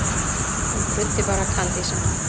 Hann bruddi bara kandísinn.